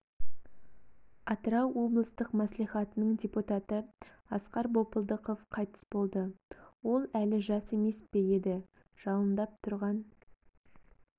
атырау облыстық мәслихатының депутаты асқар бопылдықов қайтыс болды ол әлі жас емес пе еді жалындап тұрған